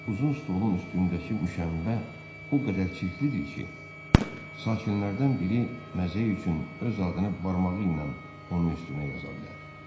Uzun stolun üstündəki müşəmbə o qədər çirklidir ki, sakinlərdən biri məzəyi üçün öz adını barmağı ilə onun üstünə yaza bilər.